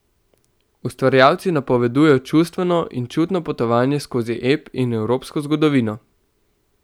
Ustvarjalci napovedujejo čustveno in čutno potovanje skozi ep in evropsko zgodovino.